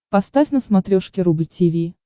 поставь на смотрешке рубль ти ви